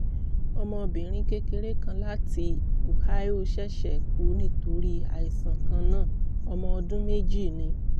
ọmọbìnrin kékeré kan láti ohio ṣẹ̀ṣẹ̀ kú nítorí àìsàn kan náà; ọmọ ọdún méjì ni